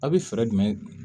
A' bɛ fɛɛrɛ jumɛn